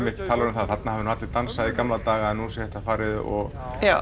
talar um það að þarna hafi allir dansað í gamla daga en nú sé þetta farið og